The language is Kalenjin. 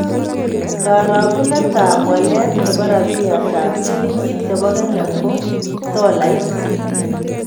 Karagunetap walet ne po rabiyatap silingit ne bo Kenya ak tolait